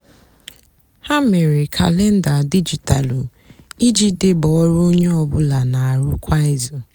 hà mére kalenda dijitalụ íjì débé ọrụ ónyé ọ bụlà nà-àrụ kwá ízú.